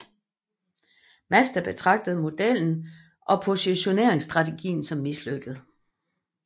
Mazda betragtede modellen og positioneringsstrategien som mislykket